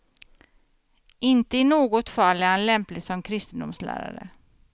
Inte i något fall är han lämplig som kristendomslärare.